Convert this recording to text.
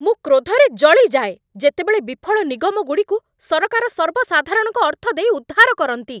ମୁଁ କ୍ରୋଧରେ ଜଳିଯାଏ, ଯେତେବେଳେ ବିଫଳ ନିଗମଗୁଡ଼ିକୁ ସରକାର ସର୍ବସାଧାରଣଙ୍କ ଅର୍ଥ ଦେଇ ଉଦ୍ଧାର କରନ୍ତି।